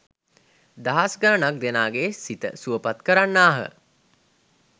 දහස් ගණනක් දෙනාගේ සිත සුවපත් කරන්නාහ.